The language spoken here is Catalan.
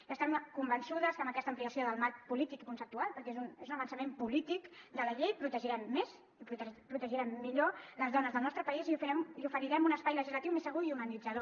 i estem convençudes que amb aquesta ampliació del marc polític i conceptual perquè és un avançament polític de la llei protegirem més i protegirem millor les dones del nostre país i oferirem un espai legislatiu més segur i humanitzador